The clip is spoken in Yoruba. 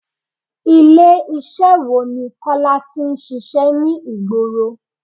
Ilé iṣẹ́ wo ni Kọ́lá tí ń ṣíṣe ní ìgboro?